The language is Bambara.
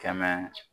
Kɛmɛ